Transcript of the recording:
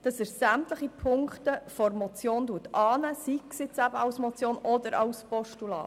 Er ist bereit, sämtliche Ziffern der Motion anzunehmen, sei es als Motion oder als Postulat.